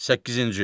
Səkkizinci.